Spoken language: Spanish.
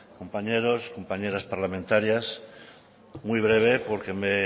compañeros compañeras parlamentarias muy breve porque me